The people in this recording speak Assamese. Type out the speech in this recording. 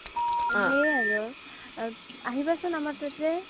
সেই আৰু আহিবা চোন আমাৰ তাতে